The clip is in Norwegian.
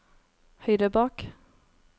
høyre bak